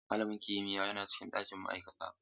Malamin kimiyya yana cikin ɗakin ma'aikata.